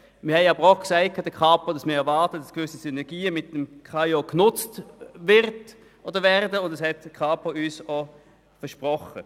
Wir sagten der Kapo aber auch, dass wir erwarten, dass gewisse Synergien mit dem KAIO genutzt werden, und die Kapo hat uns das versprochen.